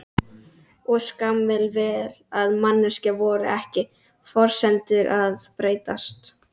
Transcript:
Og skammir, vel að merkja. voru ekki forsendurnar að breytast?